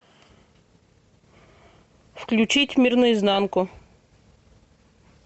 включить мир на изнанку